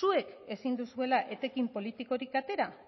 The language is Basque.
zuek ezin duzuela etekin politikorik atera